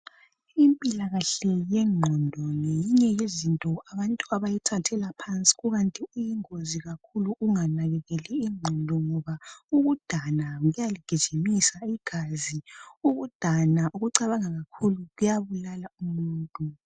Impilakahle yengqondo ngeyinye yezinto abantu abayithathela phansi kukanti iyingozi kakhulu ukunganakekeli ingqondo ngoba ukudana kuyaligijimisa igazi, ukudana ukucabanga kakhulu kuyabulala umuntu.